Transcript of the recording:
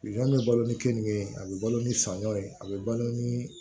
bɛ balo ni keninke ye a bɛ balo ni saɲɔ ye a bɛ balo ni